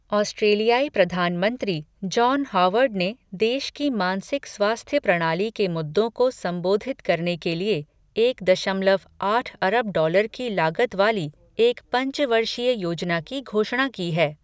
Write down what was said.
ऑस्ट्रेलियाई प्रधान मंत्री, जॉन हॉवर्ड ने देश की मानसिक स्वास्थ्य प्रणाली के मुद्दों को संबोधित करने के लिए एक दशमलव आठ अरब डॉलर की लागत वाली एक पंचवर्षीय योजना की घोषणा की है।